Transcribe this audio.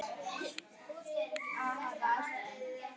Matseld lék í höndum hennar.